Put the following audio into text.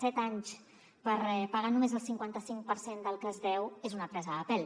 set anys per pagar només el cinquantacinc per cent del que es deu és una presa de pèl